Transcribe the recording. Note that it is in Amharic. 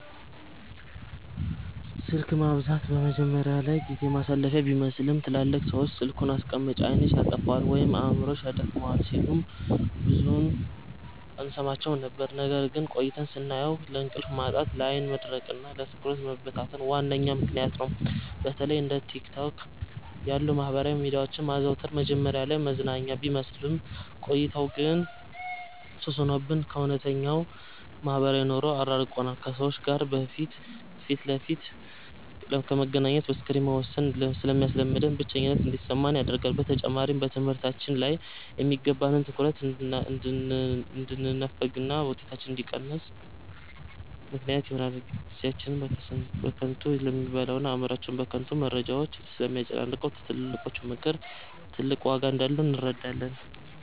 ስልክ ማብዛት መጀመሪያ ላይ ጊዜ ማሳለፊያ ቢመስልም፣ ትላልቅ ሰዎች "ስልኩን አስቀምጪ፣ ዓይንሽን ያጠፋዋል ወይም አእምሮሽን ያደክመዋል" ሲሉን ብዙም አንሰማቸውም ነበር። ነገር ግን ቆይተን ስናየው ለእንቅልፍ ማጣት፣ ለዓይን መድረቅና ለትኩረት መበታተን ዋነኛ ምክንያት ነው። በተለይ እንደ ቲክቶክ ያሉ የማህበራዊ ሚዲያዎችን ማዘውተር መጀመሪያ ላይ መዝናኛ ቢመስልም፣ ቆይቶ ግን ሱስ ሆኖብን ከእውነተኛው ማህበራዊ ኑሮ አራርቆናል። ከሰዎች ጋር ፊት ለፊት ከመገናኘት በስክሪን መወሰንን ስለሚያስለምደን፣ ብቸኝነት እንዲሰማን ያደርጋል። በተጨማሪም በትምህርታችን ላይ የሚገባንን ትኩረት እንድንነፈግና ውጤታችን እንዲቀንስ ምክንያት ይሆናል። ጊዜያችንን በከንቱ ስለሚበላውና አእምሮአችንን በከንቱ መረጃዎች ስለሚያጨናንቀው፣ የትልቆቹ ምክር ትልቅ ዋጋ እንዳለው እንረዳለን።